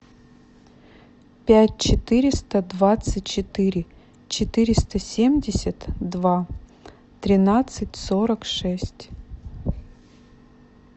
пять четыреста двадцать четыре четыреста семьдесят два тринадцать сорок шесть